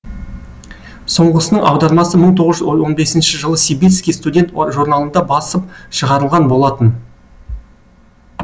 соңғысының аудармасы мың тоғыз жүз он бесінші жылы сибирский студент журналында басып шығарылған болатын